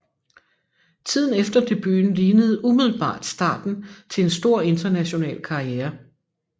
Tiden efter debuten lignede umiddelbart starten til en stor international karriere